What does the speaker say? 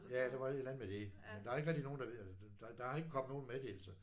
Ja der var et eller andet med det men der er ikke rigtig nogen der ved der der er ikke kommet nogen meddelelser